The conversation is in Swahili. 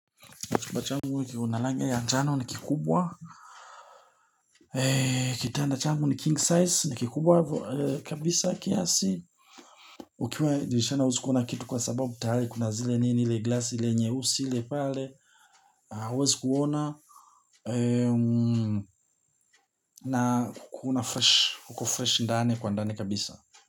Chumba changu kina rangi ya njano ni kikubwa. Kitanda changu ni king size ni kikubwa kabisa kiasi. Ukiwa dirishani huwezi kuona kitu kwa sababu tayari kuna zile nini ile glasi ile nyehusi ile pale. Hauwezi kuona na kuna fresh, kuko fresh mdani kwa ndani kabisa.